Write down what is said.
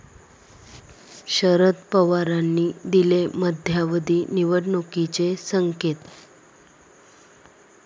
शरद पवारांनी दिले मध्यावधी निवडणुकीचे संकेत